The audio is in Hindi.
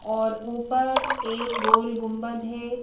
और ऊपर एक गोल गुंबद है।